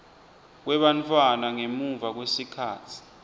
kwebantfwana ngemuva kwesikhatsi